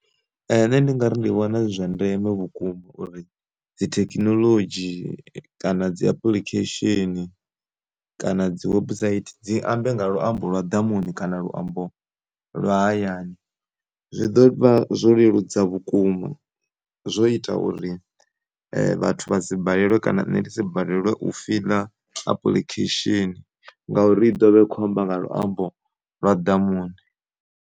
Nṋe ndi ngari ndi vhona zwi zwa ndeme vhukuma uri dzi thekhinoḽodzhi kana dzi apuḽikhesheni, kana dzi website dzi ambe nga luambo lwa ḓamuni kana luambo lwa hayani zwi ḓovha zwo leludza vhukuma zwo ita uri vhathu vha si balelwe kana nṋe ndi si balelwe u fiḽa apuḽikhesheni ngauri i ḓovha i kho amba nga luambo lwa ḓamuni.